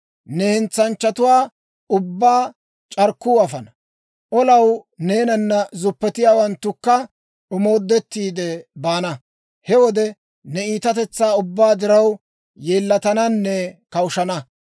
Ne hentsanchchatuwaa ubbaa c'arkkuu afana; olaw neenana zuppetiyaawanttukka omoodettiide baana. He wode ne iitatetsaa ubbaa diraw, yeellatananne kawushshana.